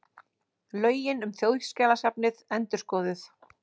Lögin um Þjóðskjalasafnið endurskoðuð